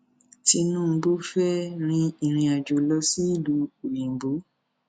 tinubu fẹẹ rin ìrìnàjò lọ sílùú òyìnbó